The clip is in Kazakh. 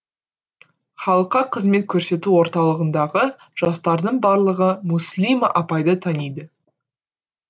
халыққа қызмет көрсету орталығындағы жастардың барлығы мүслима апайды таниды